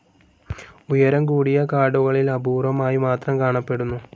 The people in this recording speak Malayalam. ഉയരം കൂടിയ കാടുകളിൽ അപൂർവ്വമായി മാത്രം കാണപ്പെടുന്നു.